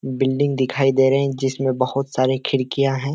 Building दिखाई दे रही जिसमें बहुत सारी खिड़कियाँ हैं।